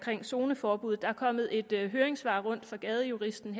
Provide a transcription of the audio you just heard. zoneforbuddet der er kommet et høringssvar rundt fra gadejuristen